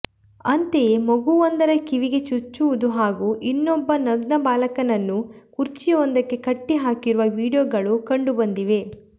ಅಂತೆಯೇ ಮಗುವೊಂದರ ಕಿವಿಗೆ ಚುಚ್ಚುವುದು ಹಾಗೂ ಇನ್ನೊಬ್ಬ ನಗ್ನ ಬಾಲಕನನ್ನು ಕುರ್ಚಿಯೊಂದಕ್ಕೆಕಟ್ಟಿ ಹಾಕಿರುವ ವೀಡಿಯೋಗಳೂ ಕಂಡು ಬಂದಿವೆ